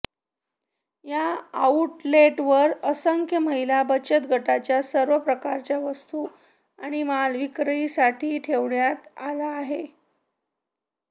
या आऊटलेटवर असंख्य महिला बचत गटांच्या सर्वप्रकारच्या वस्तू आणि माल विक्रीसाठी ठेवण्यात आला आहे